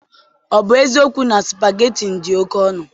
Ọ bụ eziokwu na supageti dị oke ọnụ?